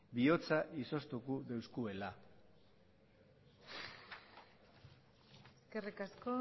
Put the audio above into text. bihotza izoztuko doskuela eskerrik asko